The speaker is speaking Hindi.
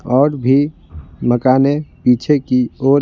और भी मकानें पीछे की ओर--